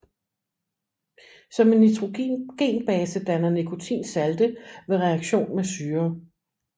Som en nitrogenbase danner nikotin salte ved reaktion med syrer